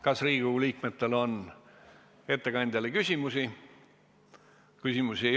Kas Riigikogu liikmetel on ettekandjale küsimusi?